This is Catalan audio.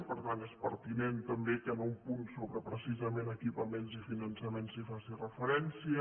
i per tant és pertinent també que en un punt sobre precisament equipaments i finançament s’hi faci referència